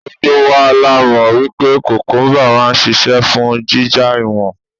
Gbogbo wa la mọ̀ wípé kùkúmbà máa ń ṣisẹ́ fún jíjá ìwọ̀n.